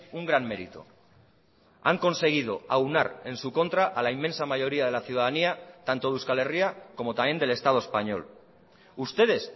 un gran mérito han conseguido aunar en su contra a la inmensa mayoría de la ciudadanía tanto de euskal herria como también del estado español ustedes